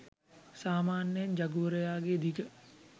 සාමාන්‍යයෙන් ජගුවරයා ගේ දිග